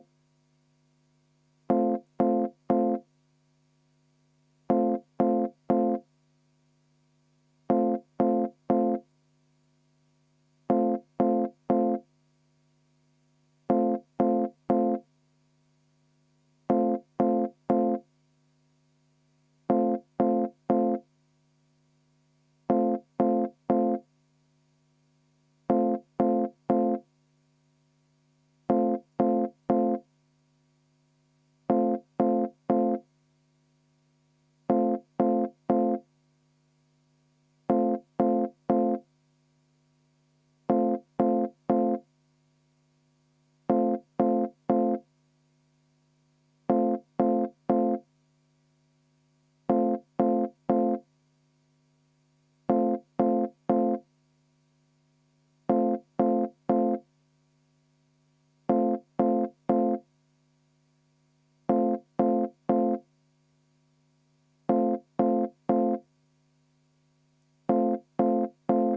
V a h e a e g